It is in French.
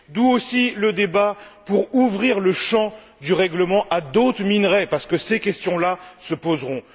D'où aussi le débat pour ouvrir le champ du règlement à d'autres minerais parce que ces questions là se poseront.